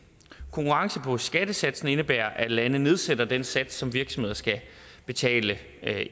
konkurrence på skattesatsen indebærer at landene nedsætter den sats som virksomheder skal betale